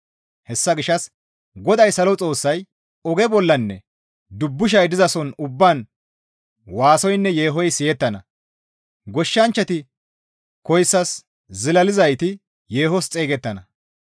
Hessa gishshas GODAY Salo Xoossay, «Oge bollanne dubbushay dizason ubbaan waasoynne yeehoy siyettana; goshshanchchati koyssas zilalizayti yeehos xeygettana.